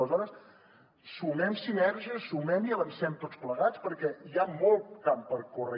aleshores sumem sinergies sumem i avancem tots plegats perquè hi ha molt camp per córrer